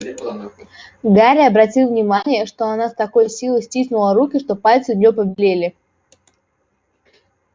гарри обратил внимание что она с такой силой стиснула руки что пальцы у нее побелели